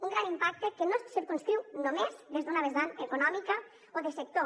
un gran impacte que no es circumscriu només des d’una vessant econòmica o de sector